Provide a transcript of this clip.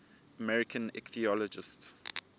american ichthyologists